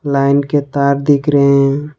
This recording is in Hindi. लाइन के तार दिख रहे हैं।